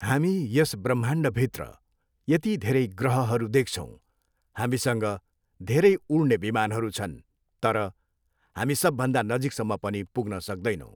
हामी यस बह्माण्डभित्र यति धेरै गहहरू देख्छौँ, हामीसँग धेरै उड्ने विमानहरू छन्, तर हामी सबभन्दा नजिकसम्म पनि पुग्न सक्दैनौँ।